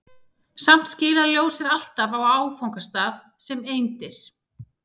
samt skilar ljós sér alltaf á áfangastað sem eindir